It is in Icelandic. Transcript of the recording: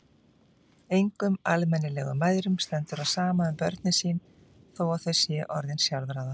Engum almennilegum mæðrum stendur á sama um börnin sín þó að þau séu orðin sjálfráða.